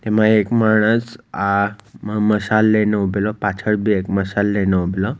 એમાં એક માણસ આમાં મસાલ લઈને ઉભેલો પાછળ બી એક માણસ મસાલ લઈને ઉભેલો --